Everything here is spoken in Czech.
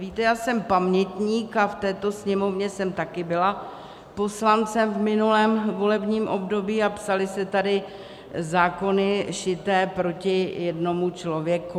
Víte, já jsem pamětník a v této Sněmovně jsem také byla poslancem v minulém volebním období a psaly se tady zákony šité proti jednomu člověku.